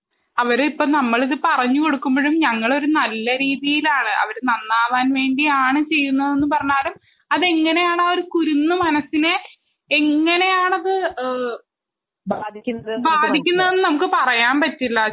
അവരിപ്പം നമ്മളിത് പറഞ്ഞുകൊടുമ്പോഴും നമ്മള് അത് നല്ല രീതിയിലാണ് അവര് നന്നാവാൻ വേണ്ടിയാണ് ചെയ്യുന്നതെന്ന് പറഞ്ഞാലും അവർ എങ്ങനെയാണു കുരുന്നു മനസ്സിനെ എങ്ങനെയാണ് ബാ ധിക്കുന്നതെന്നു നമുക്ക് പറയാൻ പറ്റില്ല